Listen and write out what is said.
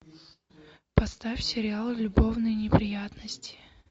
поставь сериал любовные неприятности